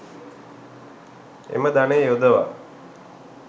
එම ධනය යොදවා